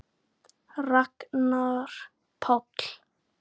Blessuð sé minning kærrar systur.